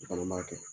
I fana b'a kɛ